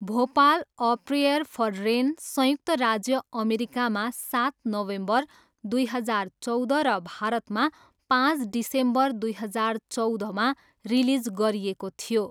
Bhopal, a prayer for rain, संयुक्त राज्य अमेरिकामा सात नोभेम्बर दुई हजार चौध र भारतमा पाँच डिसेम्बर दुई हजार चौधमा रिलिज गरिएको थियो।